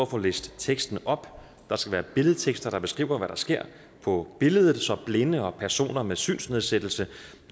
få læst teksten op der skal være billedtekster der beskriver hvad der sker på billeder så blinde og personer med synsnedsættelse